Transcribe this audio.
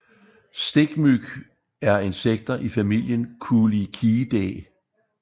Stikmyg er insekter i familien Culicidae